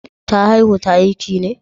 Da haihu ta aiki ne?